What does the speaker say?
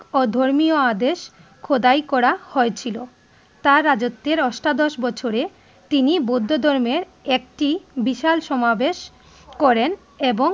অধর্মীয় আদেশ খোদাই করা হয়েছিলো। তার রাজত্বের অষ্টাদশ বছরের তিনি বৌধো ধর্মের একটি বিশাল সমাবেশ করেন এবং